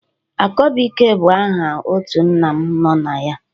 Akọbụike bụ aha otu nna m nọ na ya.